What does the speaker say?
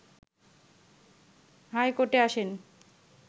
high কোর্টে আসেন